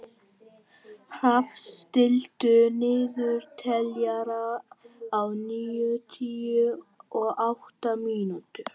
Hrafn, stilltu niðurteljara á níutíu og átta mínútur.